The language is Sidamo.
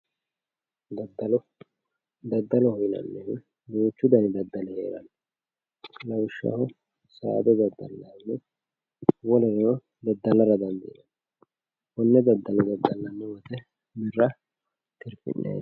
daddalo daddaloho yinannihu duuchu dani daddali heeranno lawishshaho saada daddalannihu wolereno daddalara dandiinanni konne daddalo daddallanni wote birra tirfi'nanni.